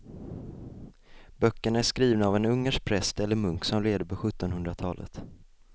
Böckerna är skrivna av en ungersk präst eller munk som levde på sjuttonhundratalet.